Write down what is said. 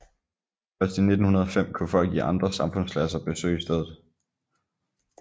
Først i 1905 kunne folk i andre samfundsklasser besøge stedet